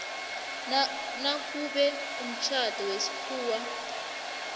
nakube umtjhado wesikhuwa